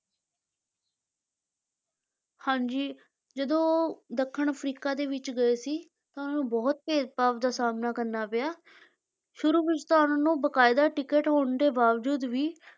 ਹਾਂਜੀ ਜਦੋਂ ਦੱਖਣ ਅਫਰੀਕਾ ਦੇ ਵਿੱਚ ਗਏ ਸੀ ਤਾਂ ਉਹਨੂੰ ਬਹੁਤ ਭੇਦਭਾਵ ਦਾ ਸਾਹਮਣਾ ਕਰਨਾ ਪਿਆ, ਸ਼ੁਰੂ ਵਿੱਚ ਤਾਂ ਉਹਨਾਂ ਨੂੰ ਬਕਾਇਦਾ ਟਿੱਕਟ ਹੋਣ ਦੇ ਬਾਵਜੂਦ ਵੀ,